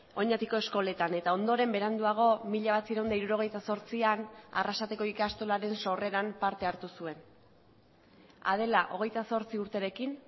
oñatiko eskoletan eta ondoren beranduago mila bederatziehun eta hirurogeita zortzian arrasateko ikastolaren sorreran parte hartu zuen adela hogeita zortzi urterekin